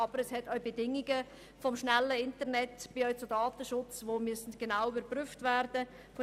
Aber es gibt auch Bedingungen, etwa beim Datenschutz, die man genau überprüfen muss.